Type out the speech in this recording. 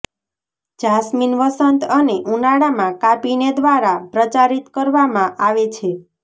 jasmine વસંત અને ઉનાળામાં કાપીને દ્વારા પ્રચારિત કરવામાં આવે છે